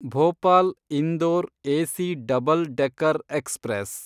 Bhopal Indore AC double decker express